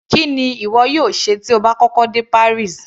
Kí ni ìwọ yóò ṣe tí o bá kọ́kọ́ dé Paris.